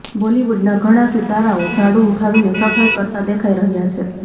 બોલિવુડના ઘણા સિતારાઓ ઝાડુ ઊઠાવીને સફાઇ કરતા દેખાઇ રહ્યા છે